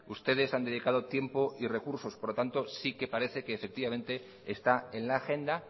ustedes han dedicado tiempo y recursos por lo tanto sí que parece que efectivamente está en la agenda